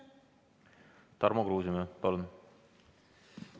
Tarmo Kruusimäe, palun!